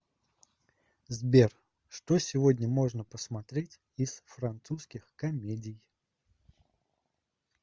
сбер что сегодня можно посмотреть из французских комедии